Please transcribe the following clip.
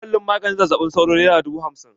Kwalin maganin zazzaɓin sauro nera dubu hamsin.